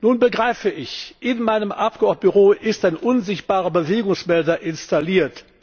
Nun begreife ich In meinem Abgeordnetenbüro ist ein unsichtbarer Bewegungsmelder installiert.